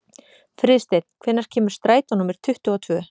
Friðsteinn, hvenær kemur strætó númer tuttugu og tvö?